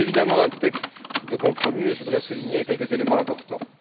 C'est évidemment un texte de compromis, et je voudrais souligner quelques éléments importants.